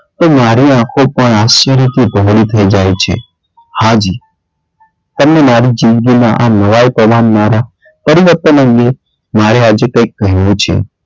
તો મારી આંખો પણ આશ્ચર્યથી થઇ જાય છે. હાજી તમને મારી જિંદગીના આમ નવાઈ પમાંવનારા પરિવર્તન અંગે મારે આજે કઈ કહેવું છે.